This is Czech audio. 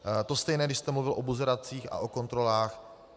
To stejné, když jste mluvil o buzeracích a o kontrolách.